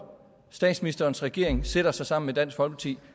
statsministerens regering sætter sig sammen med dansk folkeparti